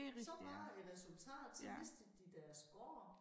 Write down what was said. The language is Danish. Så var æ resultat så mistede de deres gård